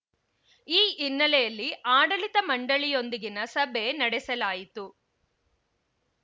ಈ ಹಿನ್ನೆಲೆಯಲ್ಲಿ ಆಡಳಿತ ಮಂಡಳಿಯೊಂದಿಗಿನ ಸಭೆ ನಡೆಸಲಾಯಿತು